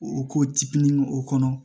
O ko tipini o kɔnɔ